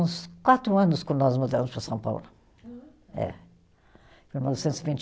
Uns quatro anos quando nós mudamos para São Paulo. Ah. Eh.